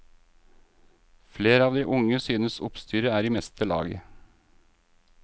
Flere av de unge synes oppstyret er i meste laget.